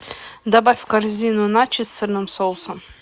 добавь в корзину начос с сырным соусом